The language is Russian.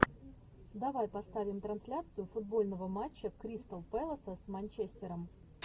давай поставим трансляцию футбольного матча кристал пэласа с манчестером